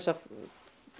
að